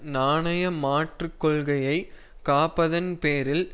நாணய மாற்று கொள்கையை காப்பதன் பேரில்